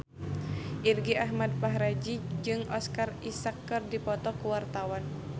Irgi Ahmad Fahrezi jeung Oscar Isaac keur dipoto ku wartawan